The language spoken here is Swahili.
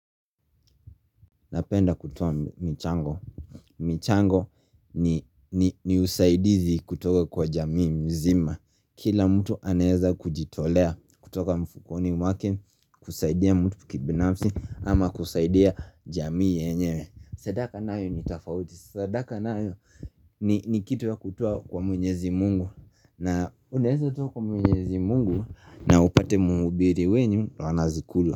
Napenda kutuwa michango michango ni usaidizi kutoka kwa jamii mzima Kila mtu anaeza kujitolea kutoka mfukoni wake kusaidia mtu kibinafsi ama kusaidia jamii yenyewe Sadaka nayo ni tafauti Sadaka nayo ni kitu ya kutuwa kwa mwenyezi mungu na uneheza kutuwa kwa mwenyezi mungu na upate mubiri wenyu ana zikula.